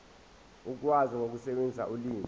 ukwazi ukusebenzisa ulimi